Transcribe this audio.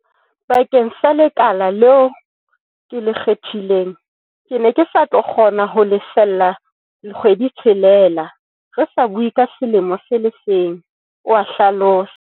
Bakeng sa le kala leo ke le kgethileng, ke ne ke sa tlo kgona ho lefella le kgwedi-tshelela, re sa bue ka selemo se le seng, oa hlalosa.